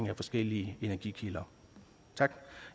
i forskellige energikilder